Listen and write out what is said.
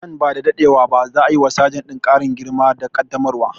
Nan ba da daɗewa ba za a yi wa sajan ɗin ƙarin girma da ƙaddamarwa